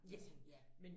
Ja sådan ja